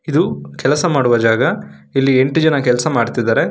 ಇದು ಕೆಲಸ ಮಾಡುವ ಜಾಗ ಇಲ್ಲಿ ಎಂಟು ಜನ ಕೆಲಸ ಮಾಡ್ತಿದ್ದಾರೆ.